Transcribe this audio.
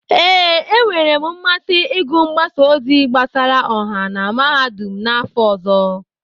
Ee, e nwere m mmasị ịgụ mgbasa ozi gbasara ọha na Mahadum n'afọ ọzọ.